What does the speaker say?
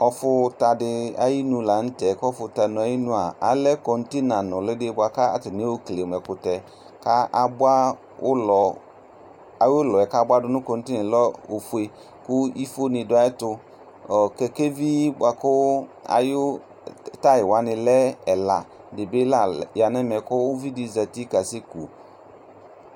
Ɔfʋta di ayinʋ la nʋ tɛ, kʋ ɔfʋta ayinu a, alɛ kɔntena lʋli di boa kʋ atani ayɔkele mʋ ɛkʋtɛ ka aboa ʋlɔ, ayu ʋlɔ yɛ kaboadʋ nʋ kɔntena yɛ lɛ ofue kʋ ifo ni dʋ ayɛtʋ Ɔɔ, kɛkɛvi boa kʋ ayu tayi wani lɛ ɛla di bi la lɛ, ya nʋ ɛmɛ kʋ uvi di bi zati kasɛku